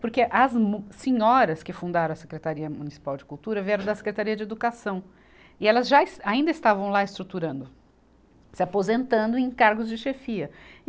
Porque as mu, senhoras que fundaram a Secretaria Municipal de Cultura vieram da Secretaria de Educação, e elas já esta, ainda estavam lá estruturando, se aposentando em cargos de chefia.